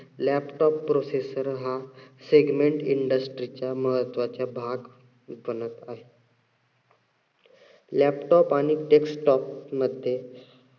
laptop processor हा segment industry चा महत्वाचा भाग बनत आहे. laptop आणि desktop मध्ये